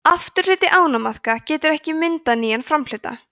afturhluti ánamaðka getur ekki myndað nýjan framhluta